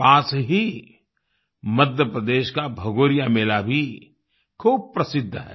पास ही मध्य प्रदेश का भगोरिया मेला भी खूब प्रसिद्ध है